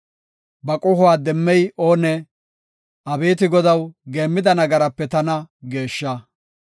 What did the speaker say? Ba qohuwa demmey oonee? Abeeti Godaw, geemmida nagarape tana geeshsha.